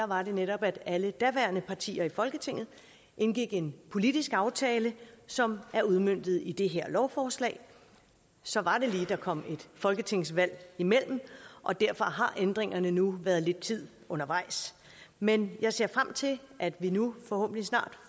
var det netop at alle daværende partier i folketinget indgik en politisk aftale som er udmøntet i det her lovforslag så var det lige der kom et folketingsvalg imellem og derfor har ændringerne nu været lidt tid undervejs men jeg ser frem til at vi nu forhåbentlig snart